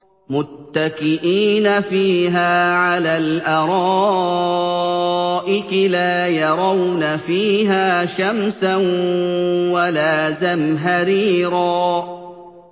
مُّتَّكِئِينَ فِيهَا عَلَى الْأَرَائِكِ ۖ لَا يَرَوْنَ فِيهَا شَمْسًا وَلَا زَمْهَرِيرًا